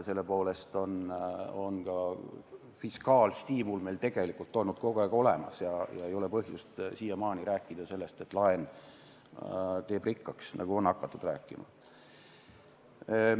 Selle poolest on fiskaalstiimul meil tegelikult olnud kogu aeg olemas ja siiamaani ei ole olnud põhjust rääkida sellest, et laen teeb rikkaks, nagu on hakatud rääkima.